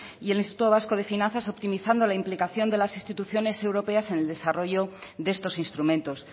y el instituto vasco de finanzas optimizando la implicación de las instituciones europeas en el desarrollo de estos instrumentos